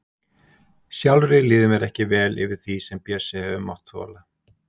Sjálfri líður mér ekki vel yfir því sem Bjössi hefur mátt þola.